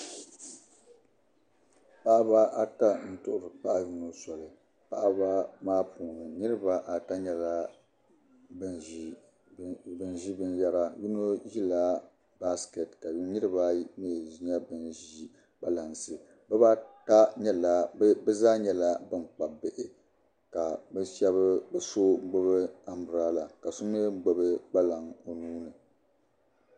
Paɣiba ata n tuhi bipaɣi yinɔ soli paɣiba maa puuni niriba ata nyala ban zi bin yara. yinɔ zi la basket ka niriba. ayi mi nyala ban zi kpalansi bizaa nyala ban Kpab bihi ka bi so gbubi am berela ka so mi gbubi kpalaŋ onuuni.